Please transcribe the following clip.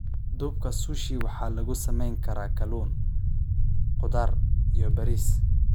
Duubka Sushi waxaa lagu samayn karaa kalluun, khudaar, iyo bariis.